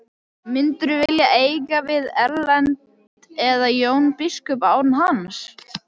Myndirðu vilja eiga við Erlend eða Jón biskup án hans?